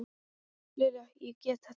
Lilja, ég get þetta ekki.